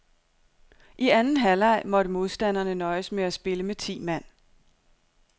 I anden halvleg måtte modstanderne nøjes med at spille med ti mand.